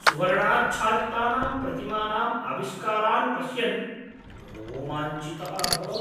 सुवर्णाच्छादितानां प्रतिमानाम् आविष्कारान् पश्यन् रोमाञ्चितः अभवम्।